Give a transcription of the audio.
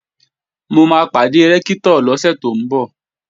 Mo máa pàdé Rẹ́ktọ̀ lọ́sẹ̀ tó ń bọ̀